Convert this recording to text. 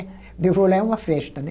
De eu vou lá é uma festa, né?